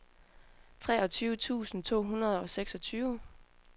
treogtyve tusind to hundrede og seksogtyve